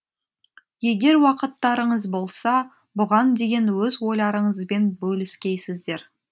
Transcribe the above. егер уақыттарыңыз болса бұған деген өз ойларыңызбен бөліскейсіздер